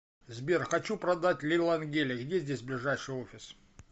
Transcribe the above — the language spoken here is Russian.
сбер хочу продать лилангени где здесь ближайший офис